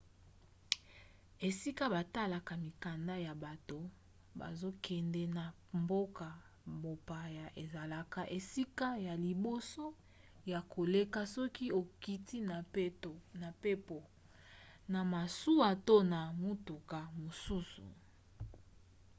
esika batalaka mikanda ya bato bazokende na mboka mopaya ezalaka esika ya liboso ya koleka soki okiti na mpepo na masuwa to na motuka mosusu